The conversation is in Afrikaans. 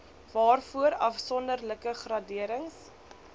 waarvoor afsonderlike graderings